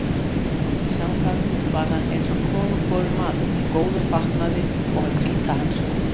Í samkvæmum var hann eins og konungborinn maður, í góðum fatnaði og með hvíta hanska.